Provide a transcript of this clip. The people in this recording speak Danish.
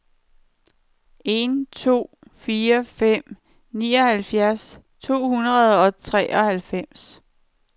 en to fire fem nioghalvfjerds ni hundrede og treoghalvfems